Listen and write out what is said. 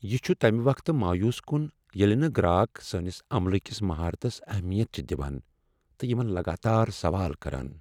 یہ چھ تمہ وقتہٕ مویوٗس كُن ییلہٕ نہٕ گراک سٲنس عملہٕ کِس مہارتس اہمیت چھِ دِوان تہٕ یمن لگاتار سوال کران۔